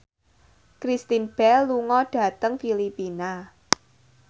Kristen Bell lunga dhateng Filipina